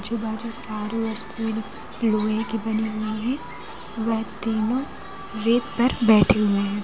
आजू बाजू सारी वस्तुएं लोहे की बनी हुई हैं वह तीनों रेत पर बैठे हुए हैं।